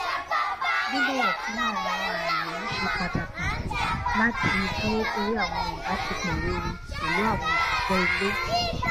bíbọwọ fún àwọn ààyè ṣe pàtàkì láti dúró sóri àwọn ìbáṣepọ rere pẹlú àwọn òṣìṣẹ ilé